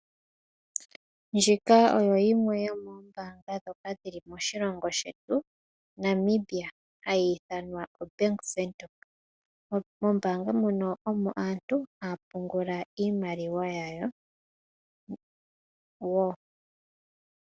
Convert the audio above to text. Ndjika oyo yimwe yomo ombanga dhoka dhili moshilongo shetu Namibia hayi ithanwa Bank Windhoek. Mombanga muno omo aantu haya pungula iimaliwa yawo.